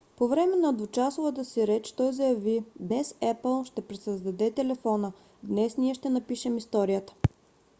по време на двучасовата си реч той заяви днес apple ще пресъздаде телефона днес ние ще напишем историята